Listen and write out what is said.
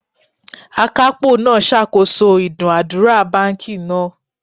Akapo naa sakoso idunadura banki naa